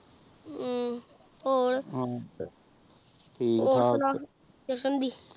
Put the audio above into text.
ਹਮ੍ਮ੍ਮ੍ਮ ਹੋਰ ਸੁਨਾ